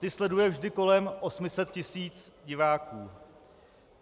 Ty sleduje vždy kolem 800 tis. diváků.